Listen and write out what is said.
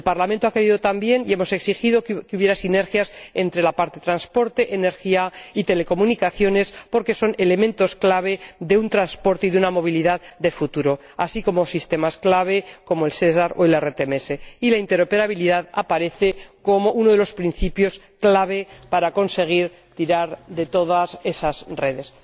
El Parlamento ha exigido también que hubiera sinergias entre los capítulos de transporte, energía y telecomunicaciones, porque son elementos clave de un transporte y de una movilidad de futuro, así como sistemas clave como el SESAR o el RTMS, y la interoperabilidad aparece como uno de los principios clave para conseguir tirar de todas esas redes.